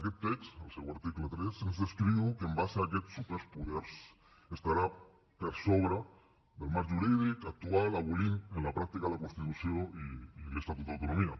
aquest text al seu article tres ens descriu que en base a aquests superpoders estarà per sobre del marc jurídic actual i abolirà en la pràctica la constitució i l’estatut d’autonomia